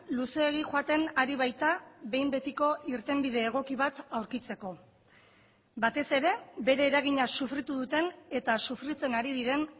luzeegi joaten ari baita behin betiko irtenbide egoki bat aurkitzeko batez ere bere eragina sufritu duten eta sufritzen ari diren